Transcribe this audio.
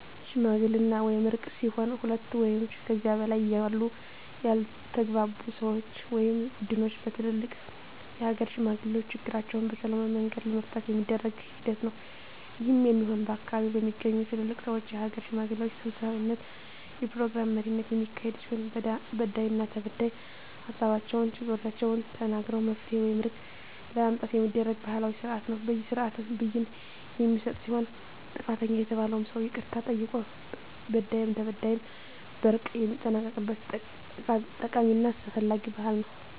ሽምግልና ወይም እርቅ ሲሆን ሁለት ወይም ከዚያ በላይ ያሉ ያልተግባቡ ሰወች ወይም ቡድኖች በትልልቅ የሀገር ሽማግሌዎች ችግራቸዉን በሰላማዊ መንገድ ለመፍታት የሚደረግ ሂደት ነዉ። ይህም የሚሆን ከአካባቢዉ በሚገኙ ትልልቅ ሰወች(የሀገር ሽማግሌዎች) ሰብሳቢነት(የፕሮግራም መሪነት) የሚካሄድ ሲሆን በዳይና ተበዳይ ሀሳባቸዉን(ችግሮቻቸዉን) ተናግረዉ መፍትሄ ወይም እርቅ ለማምጣት የሚደረግ ባህላዊ ስርአት ነዉ። በዚህ ስርአትም ብይን የሚሰጥ ሲሆን ጥፋተኛ የተባለዉም ሰዉ ይቅርታ ጠይቆ በዳይም ተበዳይም በእርቅ የሚጠናቀቅበት ጠቃሚና አስፈላጊ ባህል ነዉ።